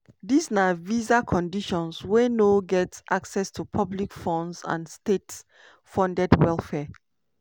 dis na visa condition wey no get access to public funds and state-funded welfare.